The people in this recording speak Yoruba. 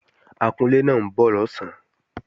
Akunlé náà ń bọ̀ lọ̀sán